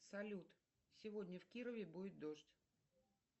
салют сегодня в кирове будет дождь